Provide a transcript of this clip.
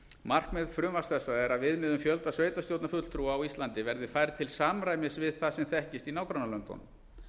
markmið frumvarps þessa er að viðmið um fjölda sveitarstjórnarfulltrúa á íslandi verði færð til samræmis við það sem þekkist í nágrannalöndunum